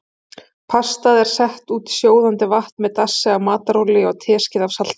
Pastað er sett út í sjóðandi vatn með dassi af matarolíu og teskeið af salti.